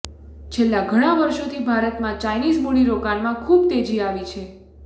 છેલ્લા ઘણા વર્ષોથી ભારતમાં ચાઈનીઝ મૂડીરોકાણમાં ખૂબ તેજી આવી છે